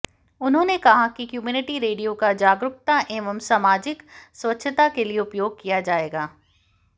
उन्होंने कहा कि कम्युनिटी रेडियो का जागरूकता एवं सामाजिक स्वच्छता के लिए उपयोग किया जाएगा